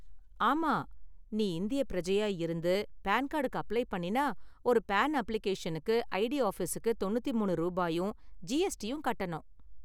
ஆமா, நீ இந்தியப் பிரஜையா இருந்து பான் கார்டுக்கு அப்ளை பண்ணினா, ஒரு பான் அப்ளிகேஷனுக்கு ஐடி ஆபிஸுக்கு தொண்ணூத்தி மூணு ரூபாயும் ஜிஎஸ்டியும் கட்டணும்.